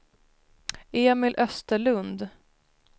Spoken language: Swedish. Emil Österlund